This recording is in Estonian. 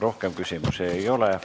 Rohkem küsimusi ei ole.